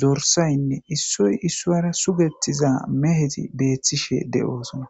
dorsaynne issoy issoyra sugettiza meheti beethtishe de7oosona